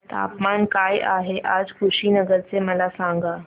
तापमान काय आहे आज कुशीनगर चे मला सांगा